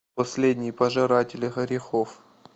последние пожиратели грехов